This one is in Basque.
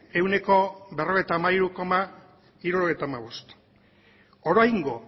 ehuneko berrogeita hamairu koma hirurogeita hamabost oraingo